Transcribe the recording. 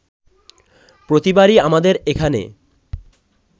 প্রতিবারই আমাদের এখানে